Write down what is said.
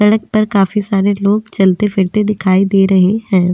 सड़क पर काफी सारे लोग चलते फिरते दिखाई दे रहे हैं।